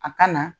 A ka na